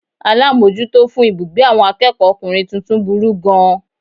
Alámójútó fún ibùgbé àwon akéèkó okùnrin tuntun burú gan an